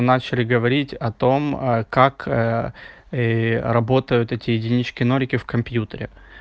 начали говорить о том как работают эти единички нолики в компьютере